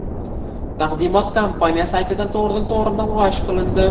Taqdimot kompaniya saytida to‘g‘ridan to‘g‘ri namoyish qilindi.